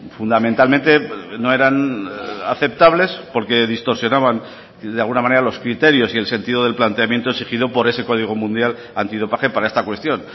fundamentalmente no eran aceptables porque distorsionaban de alguna manera los criterios y el sentido del planteamiento exigido por ese código mundial antidopaje para esta cuestión